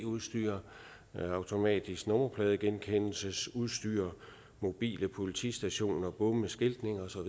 udstyr automatisk nummerpladegenkendelsesudstyr mobile politistationer bomme skiltning osv og